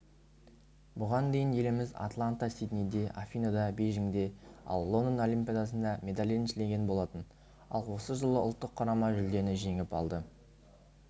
бұған дейін еліміз атлантада сиднейде афиныда бейжіңде ал лондон олимпиадасында медаль еншілеген болатын ал осы жолы ұлттық құрама жүлдені жеңіп алды